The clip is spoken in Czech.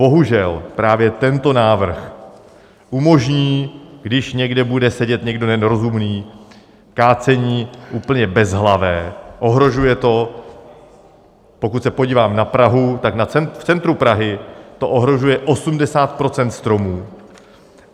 Bohužel právě tento návrh umožní, když někde bude sedět někdo nerozumný, kácení úplně bezhlavé, ohrožuje to - pokud se podívám na Prahu - tak v centru Prahy to ohrožuje 80 % stromů.